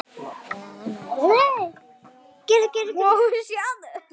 Hvíl í friði elsku frænka.